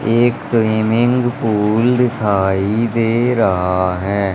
एक swimming pool दिखाई दे रहा है।